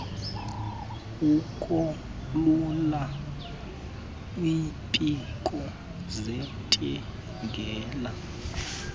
ukolula iimpiko zintingela